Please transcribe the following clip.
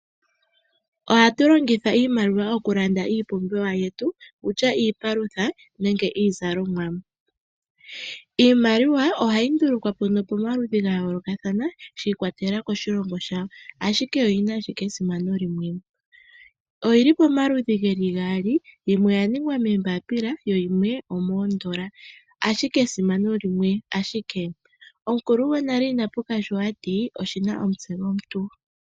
Ohatu longitha iimaliwa okulanda iipumbiwa yetu wutya iipalutha nenge iizalomwa. Iimaliwa ohayi ndulukwa po pomaludhi gayoolokathana shi ikwatelela koshilongo shawo ashike oyina ashike esimano limwe. Oyili pomaludhi geli gaali yimwe oyaningwa moombapila shimwe oshaningwa miitenda, ashike esimano limwe ashike omukulu gwonale inapuka sho ati oshina omutse gwomuntu.